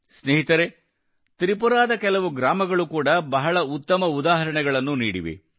ಸ್ನೇಹಿತರೇ ತ್ರಿಪುರಾದ ಕೆಲವು ಗ್ರಾಮಗಳು ಕೂಡಾ ಬಹಳ ಉತ್ತಮ ಉದಾಹರಣೆಗಳನ್ನು ನೀಡಿವೆ